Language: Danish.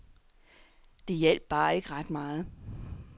Det hjalp bare ikke ret meget.